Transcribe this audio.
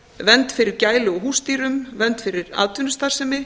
vernd fyrir gælu og húsdýrum vernd fyrir atvinnustarfsemi